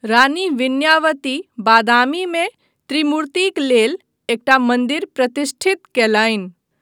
रानी विनयावती बादामीमे त्रिमूर्तिक लेल एकटा मन्दिर प्रतिष्ठित कयलनि।